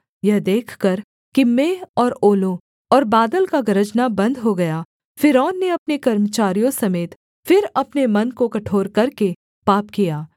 यह देखकर कि मेंह और ओलों और बादल का गरजना बन्द हो गया फ़िरौन ने अपने कर्मचारियों समेत फिर अपने मन को कठोर करके पाप किया